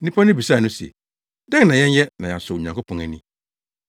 Nnipa no bisaa no se, “Dɛn na yɛnyɛ na yɛasɔ Onyankopɔn ani?”